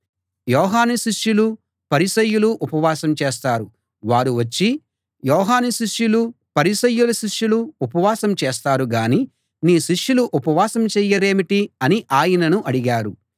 యోహాను శిష్యులు పరిసయ్యులు ఉపవాసం చేస్తారు వారు వచ్చి యోహాను శిష్యులూ పరిసయ్యుల శిష్యులూ ఉపవాసం చేస్తారు గాని నీ శిష్యులు ఉపవాసం చెయ్యరేమిటి అని ఆయనను అడిగారు